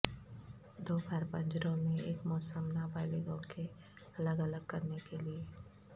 دو بار پنجروں میں ایک موسم نابالغوں کے الگ الگ کرنے کیلئے